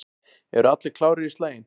Eru allir klárir í slaginn?